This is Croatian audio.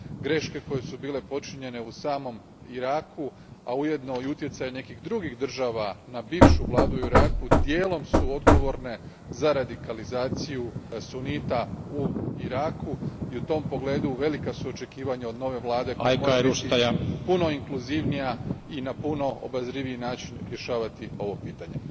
Greške koje su bile počinjene u samom Iraku, a ujedno i utjecaj nekih drugih država na bivšu Vladu u Iraku dijelom su odgovorne za radikalizaciju sunita u Iraku i u tom poogledu velika su očekivanje od nove Vlade koja mora biti puno inkluzivnija i na puno obazriviji način rješavati ovo pitanje.